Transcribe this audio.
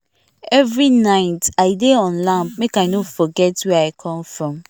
every night i dey on lamp make i no forget where i come from